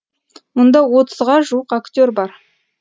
мұнда отызға жуық актер бар